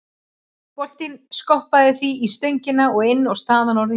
Boltinn skoppaði því í stöngina inn og staðan orðin jöfn.